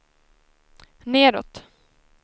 nedåt